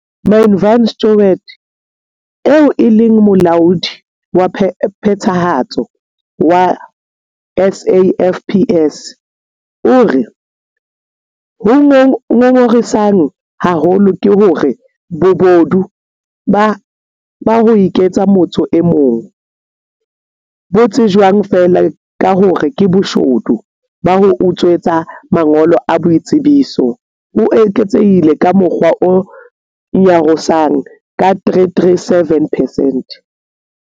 Manie van Schalkwyk, eo e leng Molaodi wa Phethahatso wa SAFPS, o re. Ho ngongorisang haholo ke hore bobodu ba ho iketsa motho e mong - bo tsejwang feela ka hore ke boshodu ba ho utswetswa mangolo a boitsebiso - bo eketsehile ka mokgwa o nyarosang ka 337 percent.